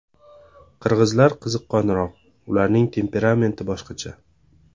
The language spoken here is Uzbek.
Qirg‘izlar qiziqqonroq, ularning temperamenti boshqacha.